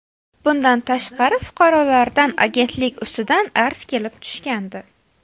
Bundan tashqari, fuqarolardan agentlik ustidan arz kelib tushgandi.